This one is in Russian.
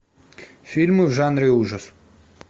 фильмы в жанре ужас